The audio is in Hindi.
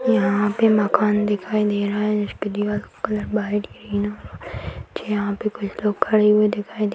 यहां पे मकान दिखाई दे रहा है जिसके दीवालो का कलर व्हाइट ग्रीन है यहां पे कुछ लोग खड़े हुए दिखाई दे --